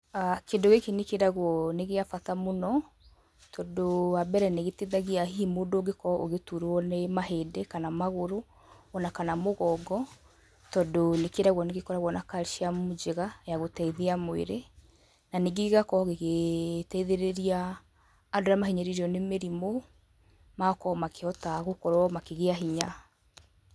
Kĩndũ gĩkĩ nĩ kĩragwo nĩ kĩa bata mũno, tondũ wa mbere nĩ gĩteithagia hihi mũndũ ũngĩkorwo ũgĩturwo nĩ mahĩndĩ, kana magũrũ, ona kana mũgongo, tondũ nĩkĩragwo nĩgĩkoragwo na calcium njega ya gũteithia mwĩrĩ, na nĩngĩ gĩgakorwo gĩgĩteithĩrĩria andũ arĩa mahinyĩrĩirio nĩ mĩrimũ magakorwo makĩhota gũkorwo makĩgĩa hinya.